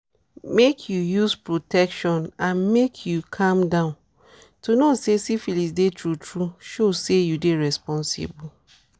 make you use protection andmake you calm down to know say syphilis dey true true show say you dey responsible